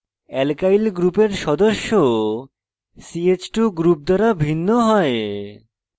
alkyl গ্রুপের সদস্য ch2 group দ্বারা ভিন্ন হয়